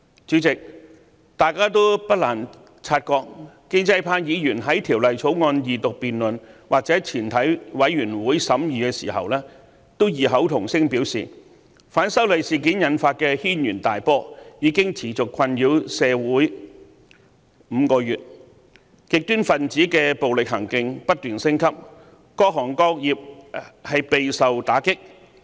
主席，大家不難察覺，建制派議員在《條例草案》二讀辯論或全體委員會審議階段均異口同聲表示，反修例事件引發的軒然大波已經持續困擾社會5個月，極端分子的暴力行徑不斷升級，各行各業備受打擊。